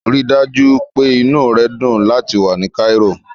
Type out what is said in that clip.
Rí i dájú pé inú rẹ dùn láti wà ní Cairo.